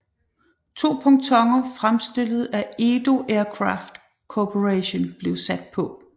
To pontoner fremstillet af Edo Aircraft Corporation blev sat på